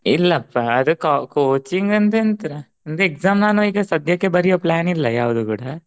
ಇಲ್ಲಪ್ಪಾ ಅದಕಾ coaching ಅಂತ ಎಂತ ನಂದು exam ನಾನು ಈಗ ಸದ್ಯಕ್ಕೆ ಬರಿಯೊ plan ಇಲ್ಲಾ ಯಾವುದು ಕೂಡಾ